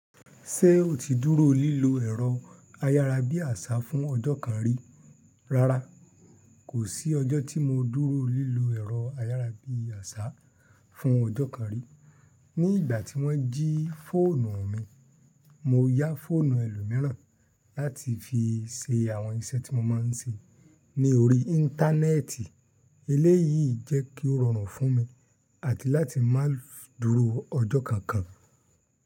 Ṣé o ti dúró lílo ẹ̀rọ ayárabíàṣá fún ọjọ́ kan rí? Rárá, kò sí ọjọ́ tí mo dúró lílo ẹ̀rọ ayárabíàṣá fún ọjọ́ kan rí. Ní ìgbà tí wọ́n jí fóònù mi, mo yá fóònù ẹlòmíràn láti fi ṣe àwọn iṣẹ́ tí mo máa ń ṣe ní orí íńtánẹ́ẹ̀tì. Eleyii yìí jẹ́ kí ó rọrùn fún mi àti láti má dúró ọjọ́ kankan.